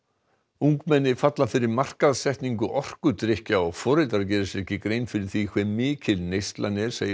ungmenni falla fyrir markaðssetningu orkudrykkja og foreldrar gera sér ekki grein fyrir því hve mikil neyslan er segir